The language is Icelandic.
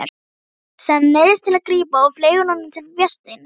Sem neyðist til að grípa og fleygir honum til Vésteins.